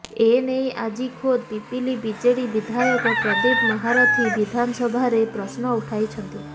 ଏନେଇ ଆଜି ଖୋଦ୍ ପିପିଲି ବିଜେଡି ବିଧାୟକ ପ୍ରଦୀପ ମହାରଥୀ ବିଧାନସଭାରେ ପ୍ରଶ୍ନ ଉଠାଇଛନ୍ତି